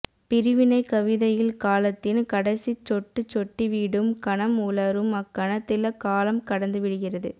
பிரிவினை கவிதையில் காலத்தின் கடைசிச் சொட்டு சொட்டிவிடும் கணம் உலரும் அக்கணத்தில் காலம் கடந்து விடுகிறது